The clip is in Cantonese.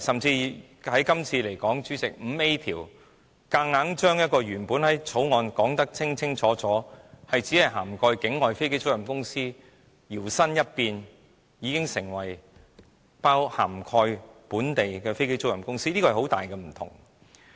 以今次而言，主席，加入第 5A 條，把《條例草案》的範圍，由原本只涵蓋境外飛機租賃公司，強行變成涵蓋本地的飛機租賃公司，這是很大的分別。